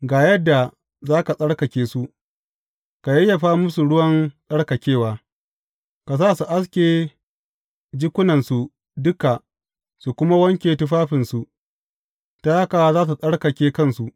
Ga yadda za ka tsarkake su, ka yayyafa musu ruwan tsarkakewa; ka sa su aske jikunansu duka su kuma wanke tufafinsu, ta haka za su tsarkake kansu.